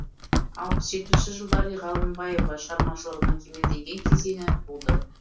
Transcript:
алпыс жетпісінші жылдар ғалымбаева шығармашылығының кемелденген кезеңі болды